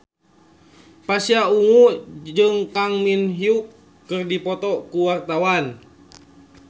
Pasha Ungu jeung Kang Min Hyuk keur dipoto ku wartawan